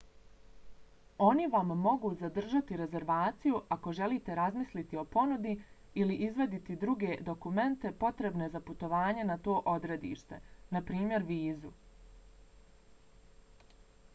oni vam mogu zadržati rezervaciju ako želite razmisliti o ponudi ili izvaditi druge dokumente potrebne za putovanje na to odredište npr. vizu